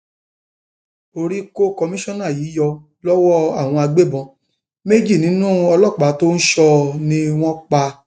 orí kó kọmíṣánná yìí yọ lọwọ àwọn agbébọn méjì nínú ọlọpàá tó ń sọ ọ ni wọn pa